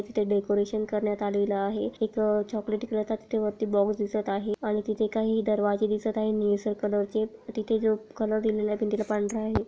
इथ डेकोरेशन करण्यात आलेल आहे एक चॉकलेटी कलरचा तिथे वरती बॉक्स दिसत आहे आणि तिथे काही दरवाजे दिसत आहे निळसर कलर चे तिथे जो कलर दिलेला आहे पण तिथ पांढरा आहे.